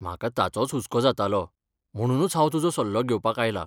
म्हाका ताचोच हुस्को जातालो, म्हणुनूच हांव तुजो सल्लो घेवपाक आयलां.